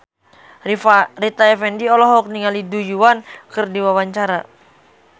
Rita Effendy olohok ningali Du Juan keur diwawancara